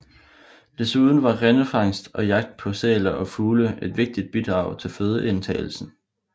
Desuden var grindefangst og jagt på sæler og fugle et vigtigt bidrag til fødeindtagelsen